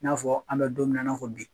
N'a fɔ an be donmina in'a fɔ bi